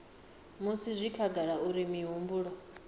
musi zwi khagala uri mihumbulo